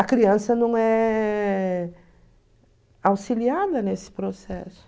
A criança não é auxiliada nesse processo.